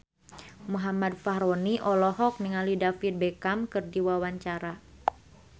Muhammad Fachroni olohok ningali David Beckham keur diwawancara